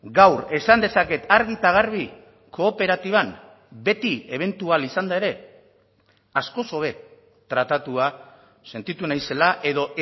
gaur esan dezaket argi eta garbi kooperatiban beti ebentual izanda ere askoz hobe tratatua sentitu naizela edo